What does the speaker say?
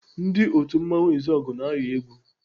Ndị otu mmanwụ Izọgụ na-ayọ egwu.